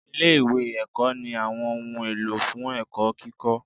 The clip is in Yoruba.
Ilé ìwé ẹ̀kọ́ ní àwọn ohun èlò fún ẹ̀kọ́ kíkọ́.